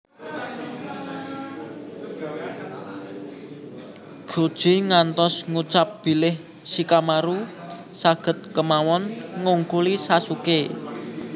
Chouji ngantos ngucap bilih Shikamaru saged kemawon ngungkuli Sasuké